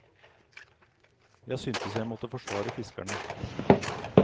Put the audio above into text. Jeg syntes jeg måtte forsvare fiskerne.